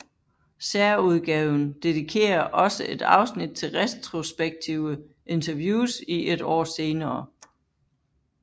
Særudgaven dedikerer også et afsnit til retrospektive interviews et år senere